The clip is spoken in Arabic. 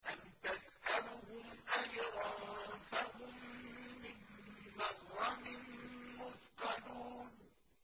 أَمْ تَسْأَلُهُمْ أَجْرًا فَهُم مِّن مَّغْرَمٍ مُّثْقَلُونَ